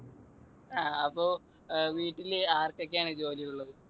ങ്ഹാ അപ്പൊ വീട്ടിൽ ആർക്കൊക്കെയാണ് ജോലിയുള്ളത്?